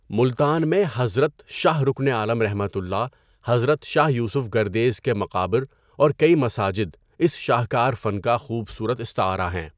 ملتان میں حضرت شاہ رکن عالم ؒ حضرت شاہ یوسف گردیز کے مقابر اور کئ مساجد اس شاہکار فن کا خوبصورت استعارہ ہیں۔